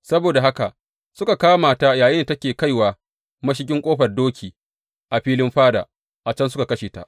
Saboda haka suka kama ta yayinda take kaiwa mashigin Ƙofar Doki a filin fada, a can suka kashe ta.